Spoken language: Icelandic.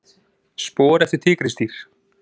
Spor eftir tígrisdýr.